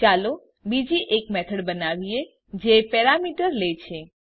ચાલો બીજી એક મેથડ બનાવીએ જે બે પેરામીટર લે છે